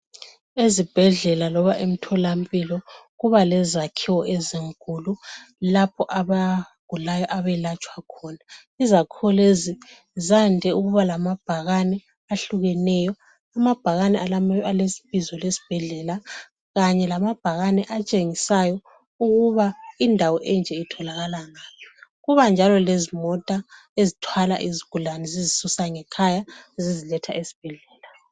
Ezibhedlela loba emtholampilo kuba lezakhiwo ezinkulu lapho abagulayo abelatshwa khona izakhiwo lezi zande ukuba lamabhakani ahlukeneyo amabhakani alebizo lesibhedlela kanye lamabhakani atshengisayo ukuba indawo enje itholakala ngaphi kuba njalo lezimota ezithwala izigulani zizisusa ngekhaya ziziletha esibhedlela.